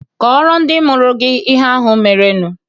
Kọọrọ ndị mụrụ gị ihe ahụ merenụ.